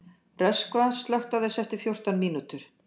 Röskva, slökktu á þessu eftir fjórtán mínútur.